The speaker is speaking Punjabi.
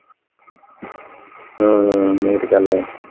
ਹਾਂ ਹਾਂ ਇਹ ਤੇ ਗੱਲ ਹੈ।